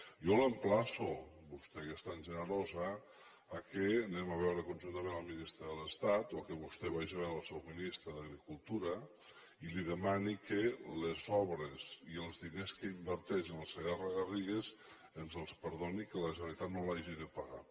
jo l’emplaço a vostè que és tan generosa que anem a veure conjuntament el ministre de l’estat o que vostè vagi a veure el seu ministre d’agricultura i li demani que les obres i els diners que inverteix en el segarragarrigues ens els perdoni que la generalitat no els hagi de pagar